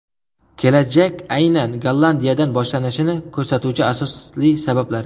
Kelajak aynan Gollandiyadan boshlanishini ko‘rsatuvchi asosli sabablar .